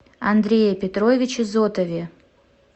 андрее петровиче зотове